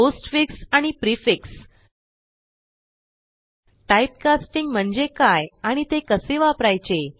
postfix आणि prefix typecasting म्हणजे काय आणि ते कसे वापरायचे